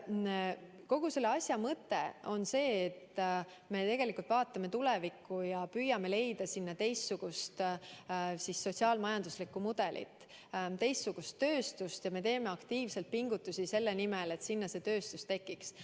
Kogu selle asja mõte on see, et me vaatame tulevikku ja püüame leida sinna teistsugust sotsiaal-majanduslikku mudelit, teistsugust tööstust, ja me teeme aktiivselt pingutusi selle nimel, et sinna see tööstus tekiks.